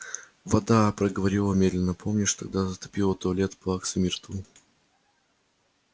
вода проговорил он медленно помнишь тогда затопило туалет плаксы миртл